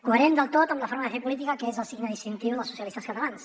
coherent del tot amb la forma de fer política que és el signe distintiu dels socialistes catalans